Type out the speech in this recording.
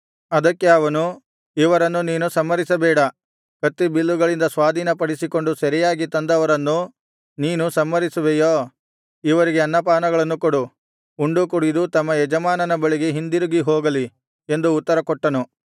ಅದಕ್ಕೆ ಅವನು ಇವರನ್ನು ನೀನು ಸಂಹರಿಸಬೇಡ ಕತ್ತಿಬಿಲ್ಲುಗಳಿಂದ ಸ್ವಾಧೀನಪಡಿಸಿಕೊಂಡು ಸೆರೆಯಾಗಿ ತಂದವರನ್ನು ನೀನು ಸಂಹರಿಸುವೆಯೋ ಇವರಿಗೆ ಅನ್ನಪಾನಗಳನ್ನು ಕೊಡು ಉಂಡು ಕುಡಿದು ತಮ್ಮ ಯಜಮಾನನ ಬಳಿಗೆ ಹಿಂದಿರುಗಿ ಹೋಗಲಿ ಎಂದು ಉತ್ತರಕೊಟ್ಟನು